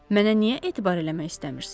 Mənə niyə etibar eləmək istəmirsiz?